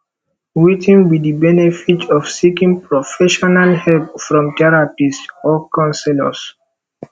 wetin be di benefits of seeking professional help from therapists or counselors